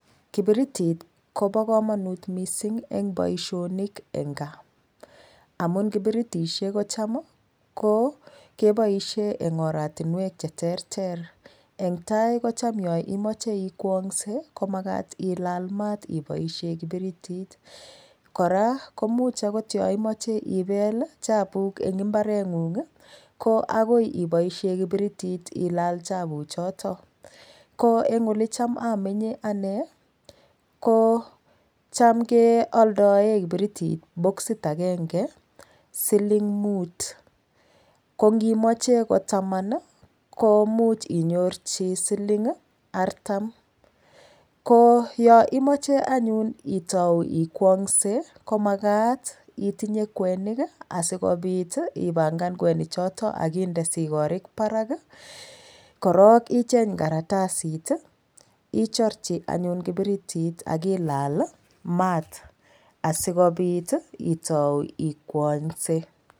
Kibiritit kopo komonut mising eng boishonik eng kaa amun kibiritishek ko cham ko kepoishe eng oratinwek cheterter eng tai kocham yoimoche ikwongse komakat ilal maat ipoishe kibiritit kora komuch akot yoimoche ipel chapuk eng imbarengung ko akoi ipoishe kibiritit ilal chapuchoto ko eng olecham amenye ane kocham kealdae kiberitit boxit akenge siling Mut kongimoche ko taman komuch inyorchi siling artam ko yoimoche anyun itou ikwongse komakat itinye kwenik asikopit ipangan kwenichoto akinde sikorik parak korok icheny karatasit ichorchi anyun kibiritit akilal maat asikopit itou ikwongse